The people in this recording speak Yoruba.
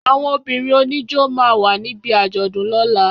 Àwọn obìrin òní ijó ma wà ní bí àjọ̀dún lóla